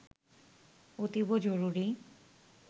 অতীব জরুরি